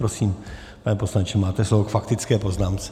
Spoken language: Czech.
Prosím, pane poslanče, máte slovo k faktické poznámce.